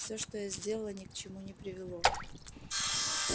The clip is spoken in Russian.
всё что я сделала ни к чему не привело